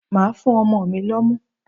Màá fún ọmọ mi lọ́mú.